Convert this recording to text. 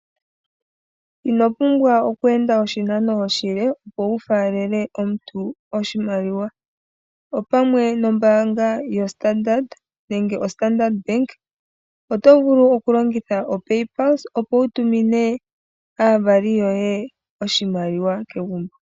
Ino pumbwa okuenda oshinanao oshile opo wufalele omuntu oshimaliwa, opamwe nombaanga yoStandard nenge yoStandard Bank otovulu okulongitha oPayPluse opo wutumine aavali yoye oshimaliwa kegumbo.